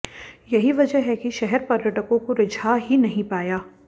यही वजह है कि शहर पर्यटकों को रिझा ही नहीं पाया